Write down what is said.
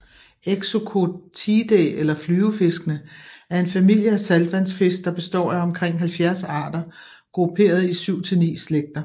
Exocoetidae eller flyvefiskene er en familie af saltvandsfisk der består af omkring 70 arter grupperet i 7 til 9 slægter